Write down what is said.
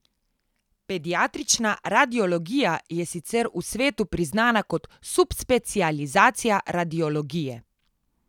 Pediatrična radiologija je sicer v svetu priznana kot subspecializacija radiologije.